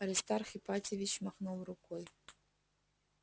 аристарх ипатьевич махнул рукой